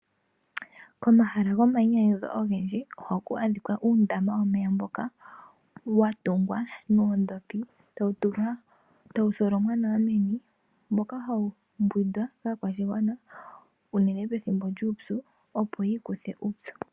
Komahala gomayinyanyudho ogendji ohaku adhikwa uundama womeya mboka wa tungwa noondhopi etawu tholomwa nawa meni. Mbyoka hawu mbwindwa kaakwashigwana unene pethimbo lyuupyu opo yi ikuthe uupyu.